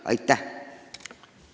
Aitäh!